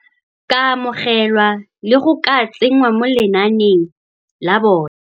ka amogelwa le go ka tsengwa mo lenaaneng la bone.